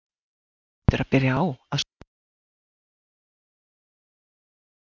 Þú hlýtur að byrja á að skoða heimamarkaðinn sem þú þekkir best er það ekki?